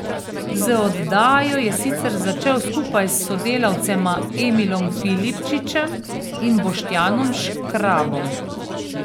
Z oddajo je sicer začel skupaj s sodelavcema Emilom Filipčičem in Boštjanom Škrabom.